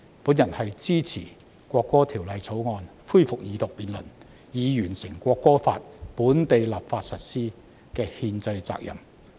我支持《條例草案》恢復二讀，以履行以本地立法形式在香港實施《國歌法》的憲制責任。